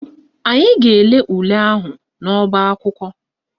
Anyị ga-ele ule ahụ n'ọbaakwụkwọ